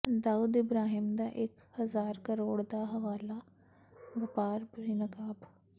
ਦਾਊਦ ਇਬਰਾਹਿਮ ਦਾ ਇਕ ਹਜ਼ਾਰ ਕਰੋੜ ਦਾ ਹਵਾਲਾ ਵਪਾਰ ਬੇਨਕਾਬ